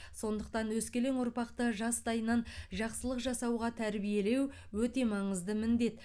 сондықтан өскелең ұрпақты жастайынан жақсылық жасауға тәрбиелеу өте маңызды міндет